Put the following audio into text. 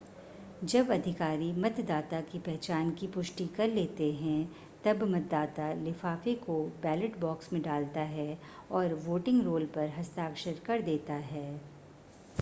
जब अधिकारी मतदाता की पहचान की पुष्टि कर लेते हैं तब मतदाता लिफ़ाफ़े को बैलट बॉक्स में डालता है और वोटिंग रोल पर हस्ताक्षर कर देता है